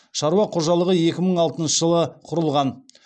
шаруа қожалығы екі мың алтыншы жылы құрылған